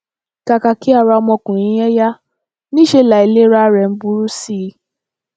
kàkà kí ara ọmọkùnrin yẹn yá níṣẹ láìlera rẹ ń burú sí i